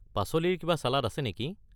পাচলিৰ কিবা চালাড আছে নেকি?